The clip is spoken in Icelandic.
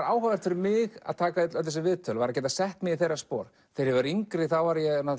áhugavert fyrir mig að taka öll þessi viðtöl var að geta sett mig í þeirra spor þegar ég var yngri var ég